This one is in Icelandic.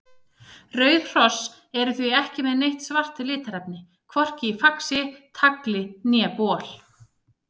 Rauð hross eru því ekki með neitt svart litarefni, hvorki í faxi, tagli né bol.